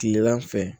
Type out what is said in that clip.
Kilegan fɛ